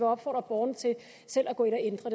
opfordre borgerne til selv at gå ind og ændre